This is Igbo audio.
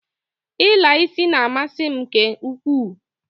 I la isi na-amasi m nke ukwuu.